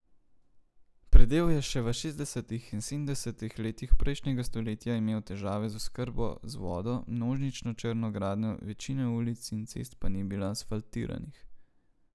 Predel je še v šestdesetih in sedemdesetih letih prejšnjega stoletja imel težave z oskrbo z vodo, množično črno gradnjo, večina ulic in cest pa ni bila asfaltiranih.